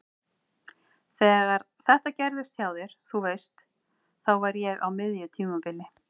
Þegar þetta gerðist hjá þér. þú veist. þá var ég á miðju tímabili.